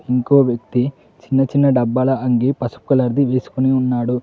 ఇంకో వ్యక్తి చిన్న చిన్న డబ్బాల అంగీ పసుపు కలర్ ది వేసుకొని ఉన్నాడు.